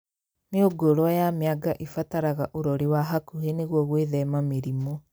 Mĩũngũrwa ya mĩanga ĩbataraga ũrori wa hakuhĩ nĩguo gwĩthema mĩrimũ